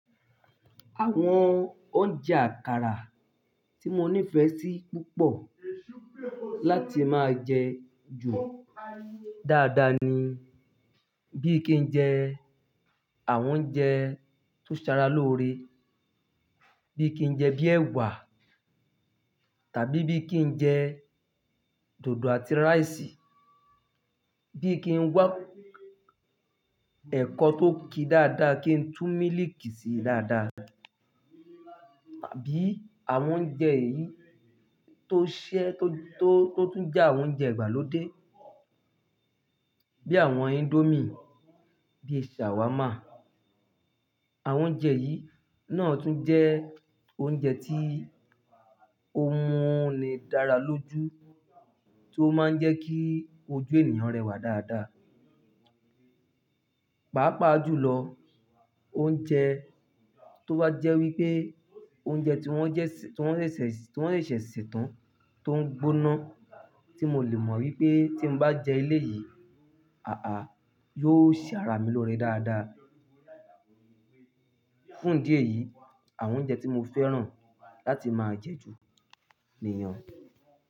Àwọn oúnjẹ àkàrà tí mo nífẹ̀ẹ́ sí púpọ̀ láti máa jẹ ju dáadáa ni bí kí n jẹ àwọn oúnjẹ tó ṣe ara lóore, bí kí n jẹ bíi ẹ̀wà tàbí bí kí n jẹ dòdò àti rice, bí kí n wá ẹ̀kọ tó ki dáadáa kí n tú mílìkì síi dáadáa. Tàbí àwọn oúnjẹ yìí tó ṣẹ́, tó, tó, tó tún jẹ́ àwọn oúnjẹ ìgbàlódé bí àwọn índómì, bí shawarma. Àwọn oúnjẹ yìí náà tún jẹ́ oúnjẹ tí ó mú ni dára lójú, tí ó máa ń jẹ́ kí ojú ènìyàn rẹwà dáadáa. Pàápàá jùlọ, oúnjẹ tó wá jẹ́ wípé oúnjẹ tí wón jẹ́ sì, tí wón ṣẹ̀ ṣẹ̀, tí wón ṣẹ̀ṣẹ̀ se tán tó ń gbóná tí mo lè mọ̀ wípé tí n bá jẹ eléyìí, àá yóò ṣe ara mi lóore dáadáa. Fún idi eyi, àwọn oúnjẹ tí mo fẹ́ràn láti máa jẹ ju nìyẹn o.